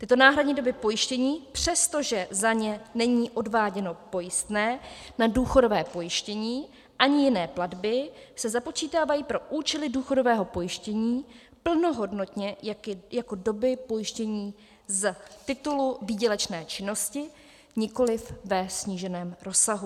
Tyto náhradní doby pojištění, přestože za ně není odváděno pojistné na důchodové pojištění ani jiné platby, se započítávají pro účely důchodového pojištění plnohodnotně jako doby pojištění z titulu výdělečné činnosti, nikoliv ve sníženém rozsahu.